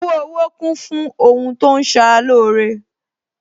Owo Owo kún fún àwọn ohun tí ó ń ṣara lóore